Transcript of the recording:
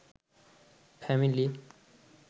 family